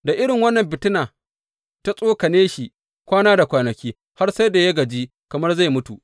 Da irin wannan fitina ta tsokane shi kwana da kwanaki har sai da ya gaji kamar zai mutu.